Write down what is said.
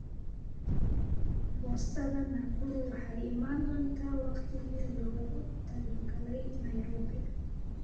boostada nakuru waxay imaan doontaa waqtigii loogu talagalay nairobi